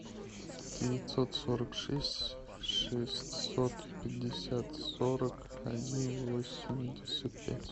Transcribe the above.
девятьсот сорок шесть шестьсот пятьдесят сорок один восемьдесят пять